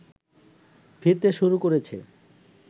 ফিরতে শুরু করেছে